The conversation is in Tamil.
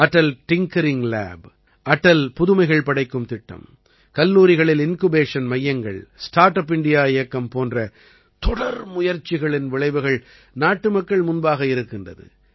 அடல் டிங்கரிங்க் லேப் அடல் புதுமைகள் படைக்கும் திட்டம் கல்லூரிகளில் இன்குபேஷன் மையங்கள் ஸ்டார்ட் அப் இண்டியா இயக்கம் போன்ற தொடர் முயற்சிகளின் விளைவுகள் நாட்டுமக்கள் முன்பாக இருக்கின்றது